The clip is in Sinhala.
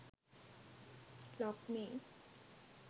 logmein